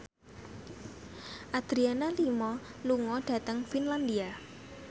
Adriana Lima lunga dhateng Finlandia